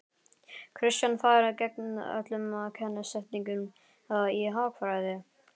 Kristján: Farið gegn öllum kennisetningum í hagfræði?